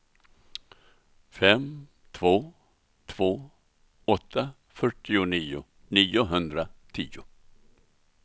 fem två två åtta fyrtionio niohundratio